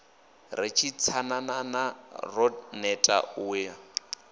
ri tsanananana ro neta u